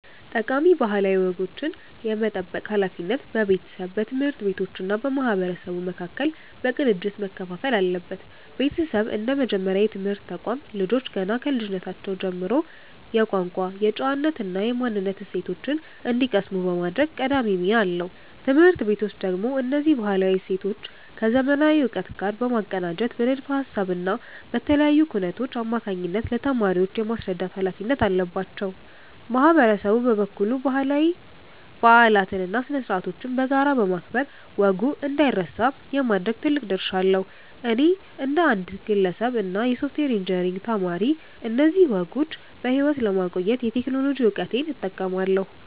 ጠቃሚ ባህላዊ ወጎችን የመጠበቅ ሃላፊነት በቤተሰብ፣ በትምህርት ቤቶች እና በማህበረሰቡ መካከል በቅንጅት መከፋፈል አለበት። ቤተሰብ እንደ መጀመሪያ የትምህርት ተቋም፣ ልጆች ገና ከልጅነታቸው ጀምሮ የቋንቋ፣ የጨዋነት እና የማንነት እሴቶችን እንዲቀስሙ የማድረግ ቀዳሚ ሚና አለው። ትምህርት ቤቶች ደግሞ እነዚህን ባህላዊ እሴቶች ከዘመናዊ እውቀት ጋር በማቀናጀት በንድፈ ሃሳብ እና በተለያዩ ኩነቶች አማካኝነት ለተማሪዎች የማስረዳት ሃላፊነት አለባቸው። ማህበረሰቡ በበኩሉ ባህላዊ በዓላትን እና ስነ-ስርዓቶችን በጋራ በማክበር ወጉ እንዳይረሳ የማድረግ ትልቅ ድርሻ አለው። እኔ እንደ አንድ ግለሰብ እና የሶፍትዌር ኢንጂነሪንግ ተማሪ፣ እነዚህን ወጎች በሕይወት ለማቆየት የቴክኖሎጂ እውቀቴን እጠቀማለሁ።